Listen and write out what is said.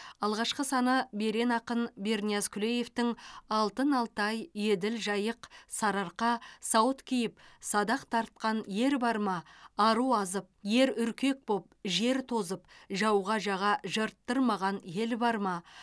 алғашқы саны берен ақын бернияз күлеевтің алтын алтай еділ жайық сарыарқа сауыт киіп садақ тартқан ер бар ма ару азып ер үркек боп жер тозып жауға жаға жырттырмаған ел бар ма